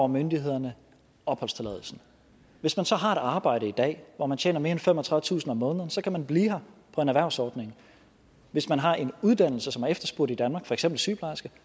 myndighederne opholdstilladelsen hvis man så har et arbejde i dag hvor man tjener mere end femogtredivetusind kroner om måneden kan man blive her på en erhvervsordning hvis man har en uddannelse som er efterspurgt i danmark for eksempel sygeplejerske